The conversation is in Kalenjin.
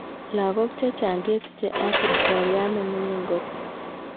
Logok chechang kesicha ag kipkoriat nemingin kot.